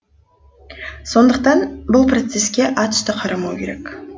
сондықтан бұл процеске атүсті қарамау керек